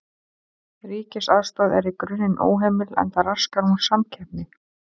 Ríkisaðstoð er í grunninn óheimil enda raskar hún samkeppni.